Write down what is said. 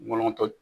Nɔnɔ tɔ